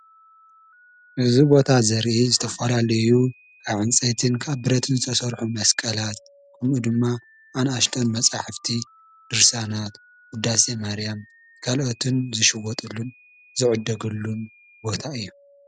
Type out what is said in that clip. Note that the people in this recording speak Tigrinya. እዚ ቦታ ዘርኢ ዝተፈላለዩ ካብ ዕንፀይትን ካብ ብረትን ዝተሰርሑ መስቀላት ከምኡ ድማ ኣናእሽተይ መፅሓፍቲ ድርሳናት ዉዳሴ ማርያም ካልኦትን ዝሽወጠሉን ዝዕደገሉን ቦታ እዩ።